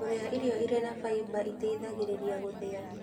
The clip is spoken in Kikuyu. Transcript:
Kũrĩa irio irĩ na faiba itaithagĩrĩria gũthĩa